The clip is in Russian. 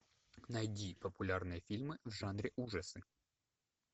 найди популярные фильмы в жанре ужасы